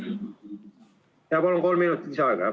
Palun talle kolm minutit lisaaega juurde.